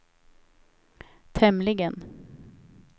tämligen